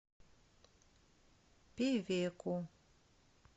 певеку